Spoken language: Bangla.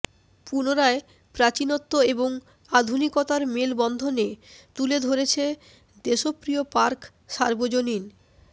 পুনরায় প্রাচীনত্ব এবং আধুনিকতার মেল বন্ধনে তুলে ধরছে দেশপ্রিয় পার্ক সার্বজনীন